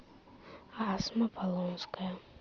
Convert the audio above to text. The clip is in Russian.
асма полонская